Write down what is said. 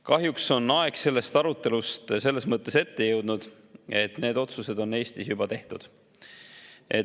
Kahjuks on aeg sellest arutelust selles mõttes ette jõudnud, et need otsused on Eestis juba tehtud.